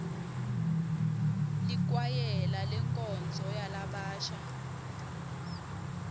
likwayela lenkonzo yalabasha